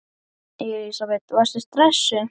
Elísabet: Varstu stressuð?